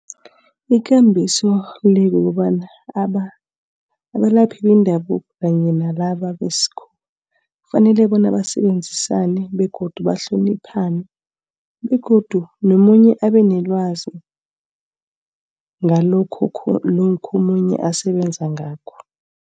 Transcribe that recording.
Ikambiso le kukobana abelalaphi bendabuko kanye nalaba besikhuwa. Kufanele bona basebenzisane begodu bahloniphane begodu nomunye abenelwazi ngalokho lokha omunye asebenza ngakho.